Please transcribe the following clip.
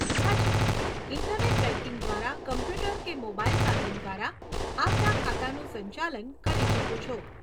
હાજી, internet banking દ્વારા computer કે મોબાઈલ સાધન દ્વારા આપના ખાતાનું સંચાલન કરી શકો છો.